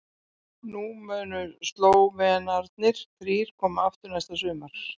Þá munu Slóvenarnir þrír koma aftur næsta sumar.